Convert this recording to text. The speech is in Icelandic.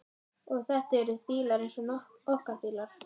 Og eru þetta bílar eins og okkar bílar?